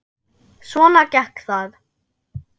Svona gekk það.